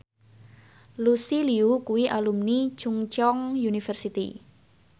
Lucy Liu kuwi alumni Chungceong University